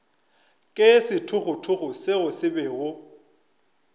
ke sethogothogo seo se bego